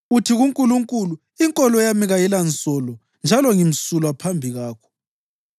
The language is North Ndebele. Uthi kuNkulunkulu, ‘Inkolo yami kayilansolo njalo ngimsulwa phambi kwakho.’